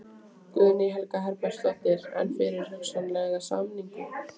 Guðný Helga Herbertsdóttir: En fyrir hugsanlega sameiningu?